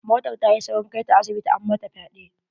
Motar ta yi saurin kai ta asibiti, an mata fyaɗe.